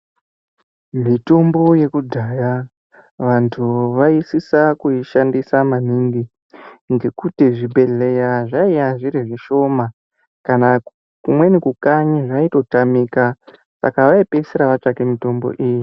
Mitombo yekudhaya vantu vaisisa kuishandisa maningi ngekuti zvibhedhleya zvaiya zviri zvishoma kana kumweni kukanyi zvaitotamika, saka vaipedzisira vatsvake mitombo iyi.